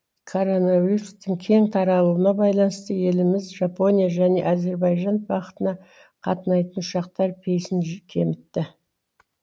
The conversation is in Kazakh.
короновирустың кең таралуына байланысты еліміз жапония және әзірбайжан бағытына қатынайтын ұшақтар пейсін кемітті